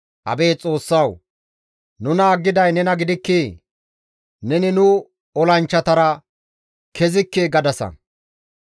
Abeet Xoossawu! Nuna aggiday nena gidikkii? Neni nu olanchchatara kezikke gadasa.